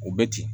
U bɛ ten